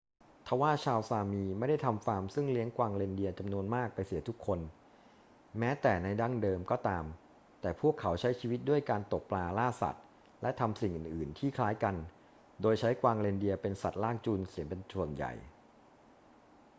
ทว่าชาวซามีไม่ได้ทำฟาร์มซึ่งเลี้ยงกวางเรนเดียร์จำนวนมากไปเสียทุกคน แม้แต่ในดั้งเดิมก็ตาม แต่พวกเขาใช้ชีวิตด้วยการตกปลา ล่าสัตว์ และทำสิ่งอื่น ๆ ที่คล้ายกัน โดยใช้กวางเรนเดียร์เป็นสัตว์ลากจูงเสียเป็นส่วนใหญ่